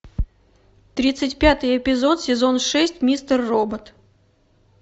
тридцать пятый эпизод сезон шесть мистер робот